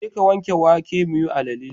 Jeka wanke wake muyi alale.